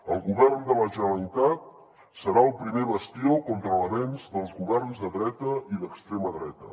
el govern de la generalitat serà el primer bastió contra l’avenç dels governs de dreta i d’extrema dreta